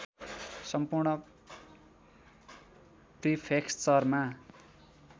सम्पूर्ण प्रिफेक्चरमा